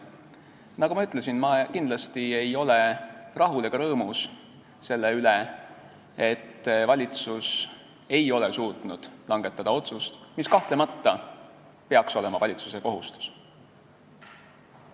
Nagu ma ütlesin, ma kindlasti ei ole rahul sellega ega rõõmus selle üle, et valitsus ei ole suutnud langetada otsust, mis kahtlemata peaks olema valitsuse kohustus.